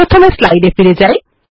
প্রথমে স্লাইড ফিরে যাই